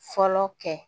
Fɔlɔ kɛ